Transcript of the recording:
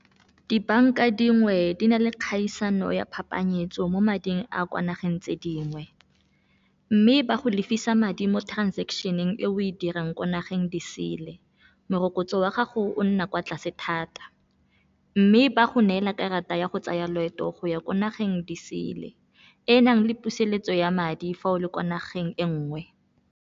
Dibanka dingwe di na le kgaisano ya phapanyetsano mo mading a kwa nageng tse dingwe, mme ba go lefisa madi mo transaction-eng e o e dirang kwa nageng diseele. Morokotso wa gago o nna kwa tlase thata, mme ba go neela karata ya go tsaya loeto go ya ko nageng di sele, e nang le puseletso ya madi fa o le kwa nageng e nngwe.